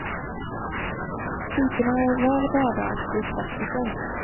Typerna är väl värda att bli klassiker.